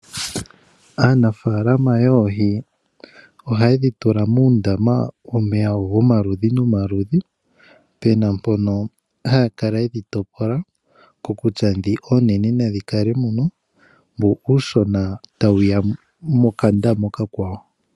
Aanafaalama yoohi ohaye dhi tula muundama womeya gomaludhi nomaludhi, pena mpono haya kala ye dhi topola kokutya ndhi oonene nadhi kale muno, mbu uushona tawuya mokandama okakwawo.